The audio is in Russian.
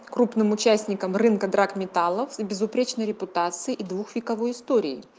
крупным участникам рынка драгметаллов с безупречной репутацией и двух вековой историей